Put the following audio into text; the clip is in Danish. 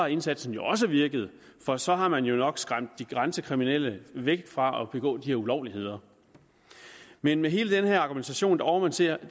indsatsen også virket for så har man jo nok skræmt de grænsekriminelle væk fra at begå de her ulovligheder men med hele den her argumentation overser